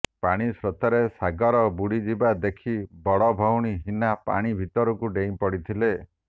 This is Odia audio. ପାଣି ସ୍ରୋତରେ ସାଗର ବୁଡ଼ି ଯିବା ଦେଖି ବଡ଼ ଭଉଣୀ ହିନା ପାଣି ଭିତରକୁ ଡେଇଁ ପଡ଼ିଥିଲେ